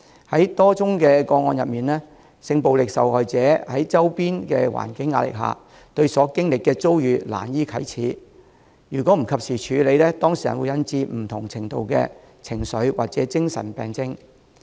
在多宗的個案中，性暴力受害人在周邊環境壓力下，對所經歷的遭遇難以啟齒，如果不及時處理，會引致當事人有不同程度的情緒或精神病症。